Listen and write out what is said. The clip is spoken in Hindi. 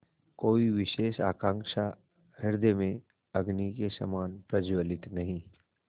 कोई विशेष आकांक्षा हृदय में अग्नि के समान प्रज्वलित नहीं